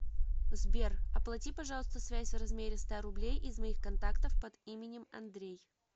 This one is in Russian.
сбер оплати пожалуйста связь в размере ста рублей из моих контактов под именем андрей